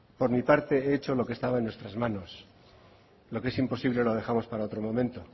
por mi parte he hecho lo que estaba en nuestras manos lo que es imposible lo dejamos para otro momento